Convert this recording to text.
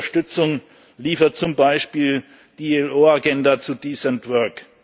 Welche Unterstützung liefert zum Beispiel die IAO Agenda zu decent